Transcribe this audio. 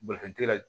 Bolifɛntigi la